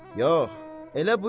Yox, elə buyurma.